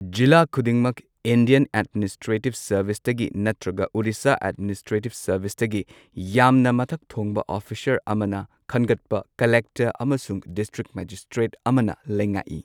ꯖꯤꯂꯥ ꯈꯨꯗꯤꯡꯃꯛ Indian administrative ꯁꯔꯚꯤꯁꯇꯒꯤ ꯅꯠꯇ꯭ꯔꯒ ꯑꯣꯗꯤꯁ ꯑꯦꯗꯃꯤꯅꯤꯁꯇ꯭ꯔꯦꯇꯤꯕ ꯁꯔꯚꯤꯁꯇꯒꯤ ꯌꯥꯝꯅ ꯃꯊꯛ ꯊꯣꯡꯕ ꯑꯣꯔꯤꯁꯥ ꯑꯃꯅ ꯈꯟꯒꯠꯄ ꯀꯂꯦꯛꯇꯔ ꯑꯃꯁꯨꯡ ꯗꯤꯁꯇ꯭ꯔꯤꯛ ꯃꯦꯖꯤꯁꯇ꯭ꯔꯦꯠ ꯑꯃꯅ ꯂꯩꯉꯥꯛꯏ꯫